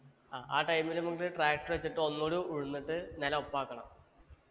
ആ ആ time ല് നമ്മക്ക് tractor വെച്ചിട്ട് ഒന്നൂടെ ഉഴുന്നിട്ട് നെലൊപ്പാക്കണം